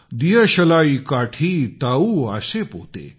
दियशलाई काठि ताउ आसे पोते ।।